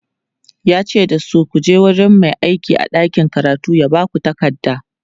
yace dasu"kuje wurin Mai aiki a ɗakin karatu ya Baku takarda!"